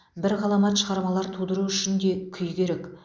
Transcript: бір ғаламат шығармалар тудыру үшін де күй керек